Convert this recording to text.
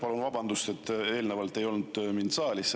Palun vabandust, et eelnevalt ei olnud mind saalis.